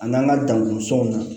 A n'an ka danko sɔn na